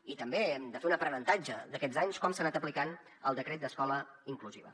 i també hem de fer un aprenentatge d’aquests anys com s’ha anat aplicant el decret d’escola inclusiva